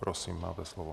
Prosím, máte slovo.